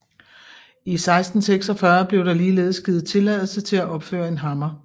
I 1646 blev der ligeledes givet tilladelse til at opføre en hammer